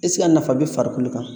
Ɛseke a nafa bɛ farikolo kan